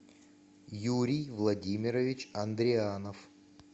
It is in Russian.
юрий владимирович андрианов